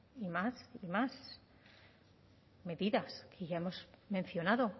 y más y más medidas y ya hemos mencionado